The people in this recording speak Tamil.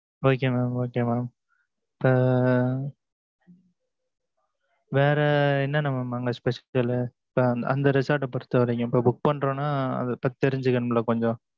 Okay mam okay mam இப்ப, வேற, என்னன்ன mam அங்க specifical லு இப்ப, அந்த resort அ, பொறுத்தவரைக்கும், இப்ப, book பண்றோம்ன்னா, அதைப் பத்தி, தெரிஞ்சுக்கணும்ல, கொஞ்சம்.